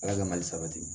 Ala ka mali sabati